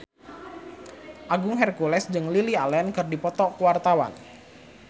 Agung Hercules jeung Lily Allen keur dipoto ku wartawan